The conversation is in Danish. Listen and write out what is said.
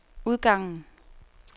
udgangen